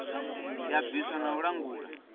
ya bvisa na u langula